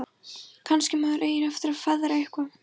Kannski maður eigi eftir að feðra eitthvað.